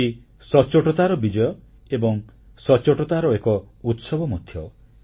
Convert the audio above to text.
GSTସଚ୍ଚୋଟତାର ବିଜୟ ଏବଂ ସଚ୍ଚୋଟତାର ଏକ ଉତ୍ସବ ମଧ୍ୟ